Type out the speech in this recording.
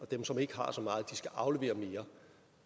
dem som ikke har så meget skal aflevere mere